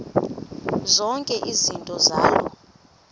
zonke izinto zaloo